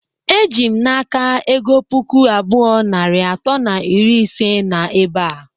Ejim na aka ego puku abụọ, narị atọ na iri ise na ebea.